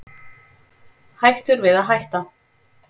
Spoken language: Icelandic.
Hættur við að hætta